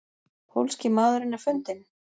Pólski maðurinn er fundinn?